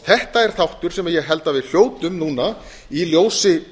þetta er þáttur sem ég held að við hljótum núna í ljósi